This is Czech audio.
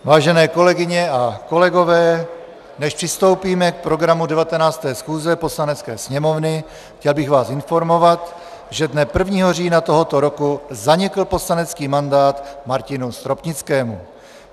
Vážené kolegyně a kolegové, než přistoupíme k programu 19. schůze Poslanecké sněmovny, chtěl bych vás informovat, že dne 1. října tohoto roku zanikl poslanecký mandát Martinu Stropnickému.